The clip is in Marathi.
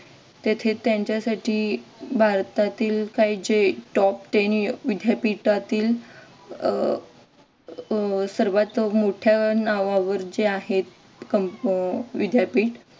तेथे त्यांच्यासाठी भारतातील काही जे top ten विद्यापीठातील अह सर्वात मोठ्या नावावर जे आहे विद्यापीठ